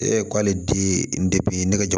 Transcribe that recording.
E k'ale di ne ka